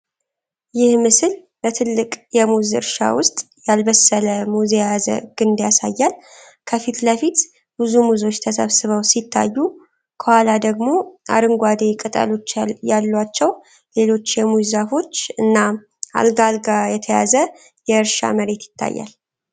ይህ ምስል በትልቅ የሙዝ እርሻ ውስጥ ያልበሰለ ሙዝ የያዘ ግንድ ያሳያል። ከፊት ለፊት ብዙ ሙዞች ተሰብስበው ሲታዩ፥ ከኋላ ደግሞ አረንጓዴ ቅጠሎች ያሏቸው ሌሎች የሙዝ ዛፎች እና አልጋ አልጋ የተያዘ የእርሻ መሬት ይታያል።